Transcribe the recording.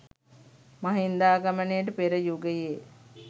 මහින්දාගමනයට පෙර යුගයේ